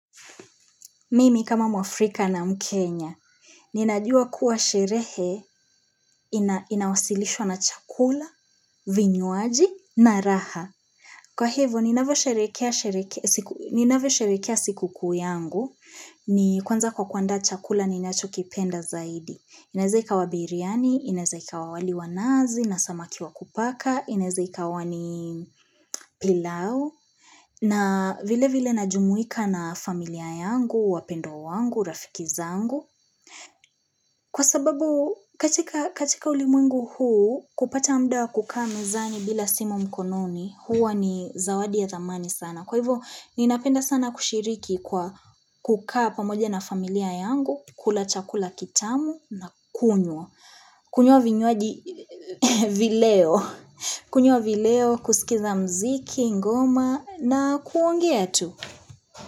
Mimi kama Mwafrika na mkenya, ninajua kuwa sherehe inawasilishwa na chakula, vinywaji na raha. Kwa hivo, ninavyo sherehekea siku kuu yangu, ni kwanza kwa kuanda chakula ni nacho kipenda zaidi. Inaeza ikawa biryani, inaeze ikawa wali wa nazi, nasamaki wa kupaka, inaeze ikawa ni pilau. Na vile vile najumuika na familia yangu, wapendwa wangu, rafikizangu. Kwa sababu, katika ulimwungu huu, kupata muda wa kukaa mezani bila simu mkononi, huwa ni zawadi ya thamani sana. Kwa hivyo, ninapenda sana kushiriki kwa kukaa pamoja na familia yangu, kula chakula kitamu na kunywa. Kunywa vinywaji vileo kunywa vileo kusikiza mziki, ngoma na kuongea yetu.